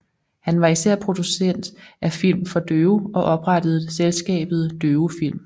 Han var især producent af film for døve og oprettede selskabet Døve Film